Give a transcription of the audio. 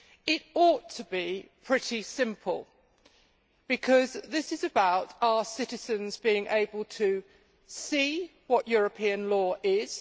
It ought to be pretty simple, because this is about our citizens being able to see what European law is